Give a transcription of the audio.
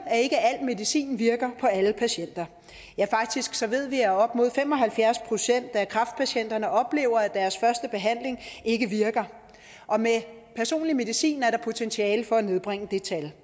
at ikke al medicin virker på alle patienter ja faktisk ved vi at op imod fem og halvfjerds procent af kræftpatienterne oplever at deres første behandling ikke virker og med personlig medicin er der potentiale for at nedbringe det tal